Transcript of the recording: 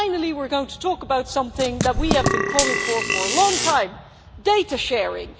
finally we are going to talk about something that we have been calling for a long time data sharing.